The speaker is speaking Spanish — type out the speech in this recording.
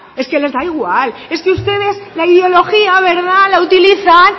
les da igual es que ustedes la ideología la utilizan